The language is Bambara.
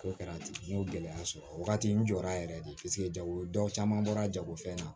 K'o kɛra ten n y'o gɛlɛya sɔrɔ o wagati n jɔra yɛrɛ de paseke jago dɔ caman bɔra jagofɛn na